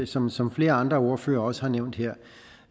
som som flere andre ordførere også har nævnt her